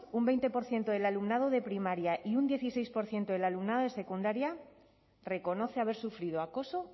un veinte por ciento del alumnado de primaria y un dieciséis por ciento del alumno de secundaria reconoce haber sufrido acoso